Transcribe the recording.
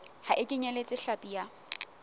ha e kenyeletse hlapi ya